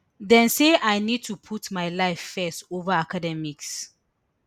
dem say i need to put my life first ova academics